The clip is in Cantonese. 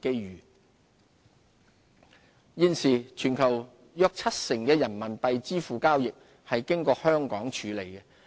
人民幣業務現時，全球約七成的人民幣支付交易是經香港處理的。